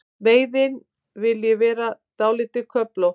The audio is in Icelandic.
Veiðin vilji vera dálítið köflótt.